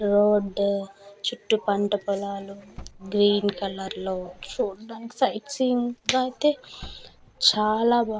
Road చుట్టు పంట పొలాలు గ్రీన్ కలర్ లో చూడ్డానికి సైట్ సీన్ గ అయితే చాలా బావుంది .